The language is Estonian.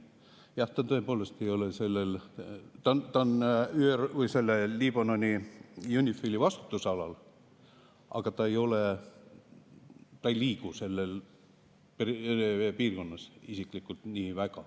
Jah, ta on Liibanoni UNIFIL-i vastutusalal, aga ta ei liigu nii väga seal piirkonnas isiklikult.